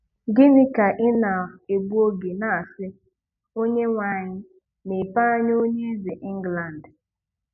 Gị́nị kà ị́ nà-ègbú ógè ná-àsị́ "Ónyénweamyị mepéé ányá ónyé Ézè England